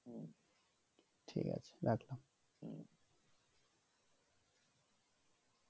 ঠিক আছে রাখলাম